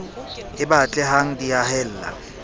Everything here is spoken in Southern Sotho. e batle hang di haella